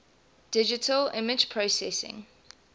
digital image processing